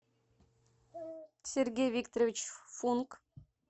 сергей викторович функ